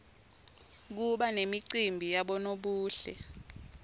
kuba nemacimbi yabonobuhle